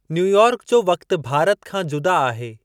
New York जो वक़्तु भारत खां जुदा आहे।